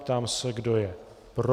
Ptám se, kdo je pro.